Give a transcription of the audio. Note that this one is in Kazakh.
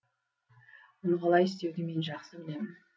оны қалай істеуді мен жақсы білемін